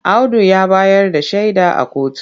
Audu ya bayar da shaida a kotu.